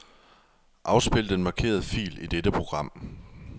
Afspil den markerede fil i dette program.